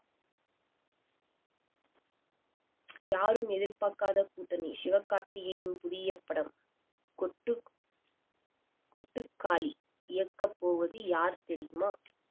யாரும் எதிர்பார்க்காத கூட்டணி சிவகார்த்திகேயன் புதிய படம் கொட்டுக்~ கொட்டுக்காளி இயக்கப்போவது யார் தெரியுமா